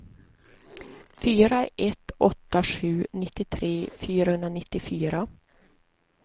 fyra ett åtta sju nittiotre fyrahundranittiofyra